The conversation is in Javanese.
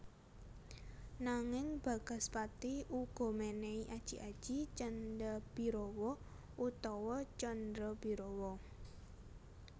Nanging Bagaspati uga mènèhi aji aji Candhabirawa utawa Candrabirawa